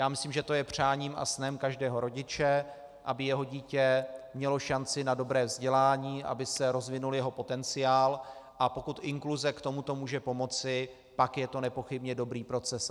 Já myslím, že to je přáním a snem každého rodiče, aby jeho dítě mělo šanci na dobré vzdělání, aby se rozvinul jeho potenciál, a pokud inkluze k tomuto může pomoci, pak je to nepochybně dobrý proces.